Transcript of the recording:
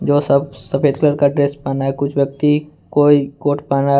और सब सफेद कलर का ड्रेस पहना है कुछ व्यक्ति कोई कोट पहना है।